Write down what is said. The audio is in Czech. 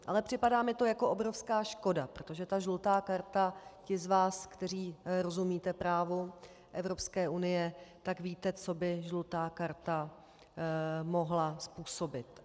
Ale připadá mi to jako obrovská škoda, protože ta žlutá karta - ti z vás, kteří rozumíte právu Evropské unie, tak víte, co by žlutá karta mohla způsobit.